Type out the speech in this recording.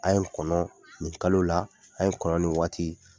A' ye n kɔnɔ nin kalo la a ye n kɔnɔ nin waati